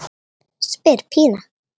spyr Pína.